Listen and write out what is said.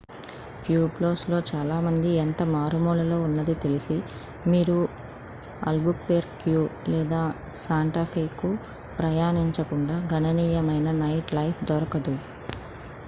ప్యూబ్లోస్లో చాలా మంది ఎంత మారుమూలలో ఉన్నది తెలిసి మీరు అల్బుక్వెర్క్యు లేదా శాంటా ఫేకు ప్రయాణించకుండా గణనీయమైన నైట్లైఫ్ దొరకదు